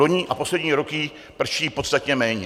Vloni a poslední roky prší podstatně méně.